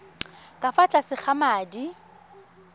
ka fa tlase ga madi